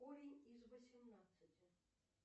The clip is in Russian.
корень из восемнадцати